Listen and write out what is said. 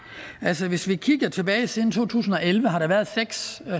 siden to tusind og elleve har der været seks